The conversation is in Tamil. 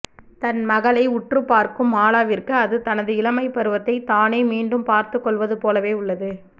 தன் மகளை உற்றுப் பார்க்கும் மாலாவிற்கு அது தனது இளமைப்பருவத்தைத் தானே மீண்டும் பார்த்துக் கொள்வது போலவே உள்ளது